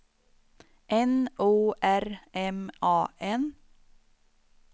N O R M A N